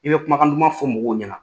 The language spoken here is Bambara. I bɛ kumakan duman fɔ mɔgɔw ɲɛna